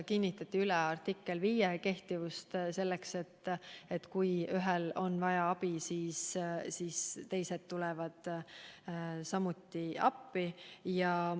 Kinnitati üle artikkel 5 kehtivus, et kui ühel on abi vaja, siis teised tulevad appi.